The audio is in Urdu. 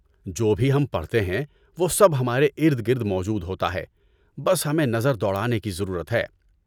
جو بھی ہم پڑھتے ہیں وہ سب ہمارے ارد گرد موجود ہوتا ہے۔ بس ہمیں نظر دوڑانے کی ضرورت ہے۔